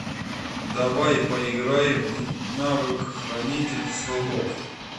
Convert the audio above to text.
давай поиграем в навык хранитель слов